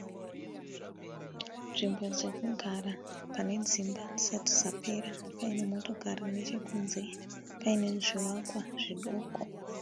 Nzvimbo dzekugara, pane dzimba dzisati dzapera, paine motokari nechekunze, paine zvivakwa zvidoko.